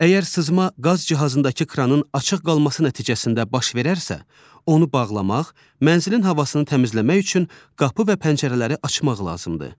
Əgər sızma qaz cihazındakı kranın açıq qalması nəticəsində baş verərsə, onu bağlamaq, mənzilin havasını təmizləmək üçün qapı və pəncərələri açmaq lazımdır.